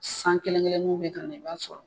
San kelen-kelennunw bɛ kana i b'a sɔrɔ